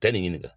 Taa nin ɲininka